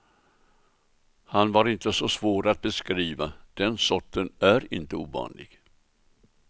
Han var inte så svår att beskriva, den sorten är inte ovanlig.